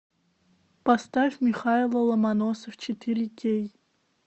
поставь михайло ломоносов четыре кей